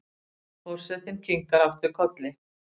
Forsetinn kinkar aftur kolli.